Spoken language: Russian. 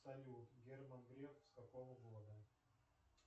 салют герман греф с какого года